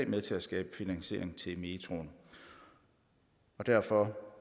med til at skabe finansiering til metroen derfor